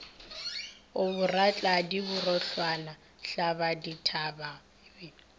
a boratladi bohulwana thlabadithamaga be